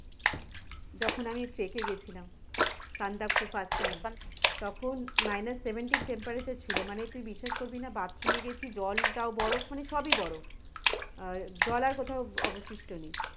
যখন আমি trek এ গিয়েছিলা সান্দাকফু first time তখন minus seventeen temperature ছিল তমানে তুই বিশ্বাস করবি না bathroom এ জল টাও বরফ মানে সবই বরফ আহ জল আর কোথাও অবশিষ্ট নেই।